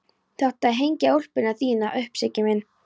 Þú átt að hengja úlpuna þína upp, Siggi minn!